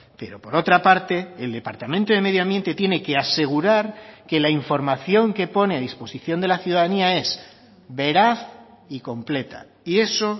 pero por otra parte el departamento de medio ambiente tiene que asegurar que la información que pone a disposición de la ciudadanía es veraz y completa y eso